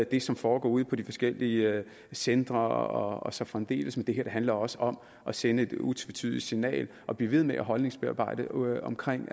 det som foregår ude på de forskellige centre og så fremdeles men det her handler også om at sende et utvetydigt signal og blive ved med at holdningsbearbejde omkring